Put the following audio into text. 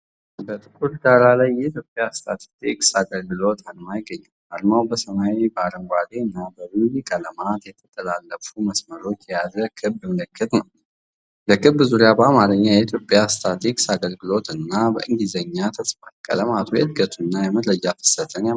በጥቁር ዳራ ላይ የኢትዮጵያ ስታትስቲክስ አገልግሎት አርማ ይገኛል። አርማው በሰማያዊ፣ በአረንጓዴና በቡኒ ቀለማት የተጠላለፉ መስመሮችን የያዘ ክብ ምልክት ነው። በክቡ ዙሪያ በአማርኛ "የኢትዮጵያ ስታትስቲክስ አገልግሎት" እና በእንግሊዝኛ ተጽፏል። ቀለማቱ የእድገትና የመረጃ ፍሰትን ያመለክታሉ።